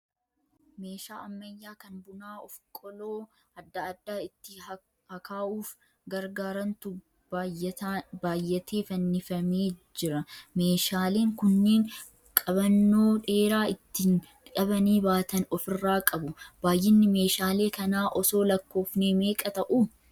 Meeshaa ammayyaa kan bunaa of qoloo adda addaa itti hakaa'uuf gargaarantu baayyatee fannifamee jira. Meeshaaleen kunniin qabannoo dheeraa ittin qabanii baatan ofirraa qabu. Baayyinni meeshaalee kanaa osoo lakkoofnee meeqa ta'u?